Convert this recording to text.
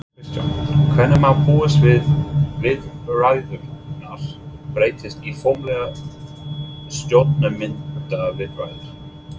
Kristján: Hvenær má búast við viðræðurnar breytist í formlegar stjórnarmyndunarviðræður?